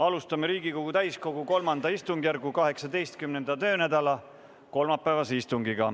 Alustame Riigikogu täiskogu III istungjärgu 18. töönädala kolmapäevast istungit.